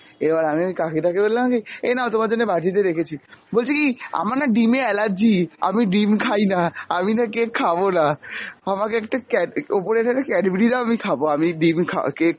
এবার আমি ওই কাকি টাকে বললাম কী এই নাও তোমার জন্য বাটিতে রেখেছি, বলছে কী আমার না ডিমে allergy, আমি ডিম খাইনা, আমিনা cake খাবনা, আমাকে একটা ক্যা~ ওপরের থেকে cadbury দাও আমি খাব, আমি ডিম খা~ cake